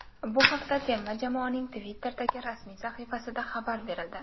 Bu haqda terma jamoaning Twitter’dagi rasmiy sahifasida xabar berildi.